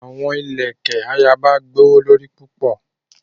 The queens beads are very expensive.